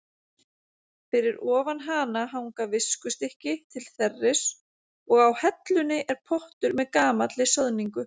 Fyrir ofan hana hanga viskustykki til þerris og á hellunni er pottur með gamalli soðningu.